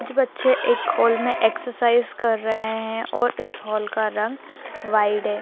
कुछ बच्चे एक हॉल में एक्सरसाइज कर रहे है और इस हॉल का रंग व्हाइट है।